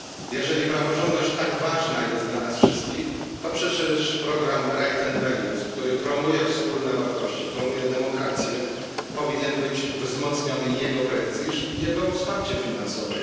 Jeżeli praworządność jest tak ważna dla nas wszystkich, to przecież program Rights and Values który promuje wspólne wartości, promuje demokrację, powinien być wzmocniony i jego prestiż, i jego wsparcie finansowe.